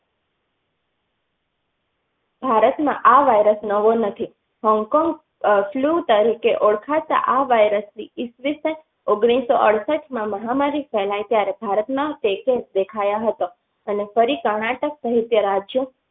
ભારત માં આ virus નવો નથી. Hong Kong. flu તરીકે ઓળખાતા આ virus એસ વિષં ઓગણીસો અડસતમાં આ મહામારી ફેલાયી ત્યારે ભારતમાં દેખાયી હતી અને ફરી. કર્નાટક સહિત રાજ્યો.